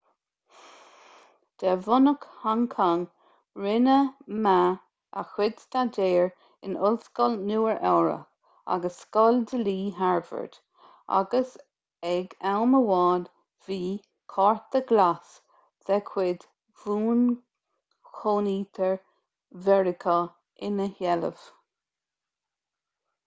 de bhunadh hong cong rinne ma a chuid staidéar in ollscoil nua-eabhrac agus scoil dlí harvard agus ag am amháin bhí cárta glas de chuid bhuanchónaitheoir mheiriceá ina sheilbh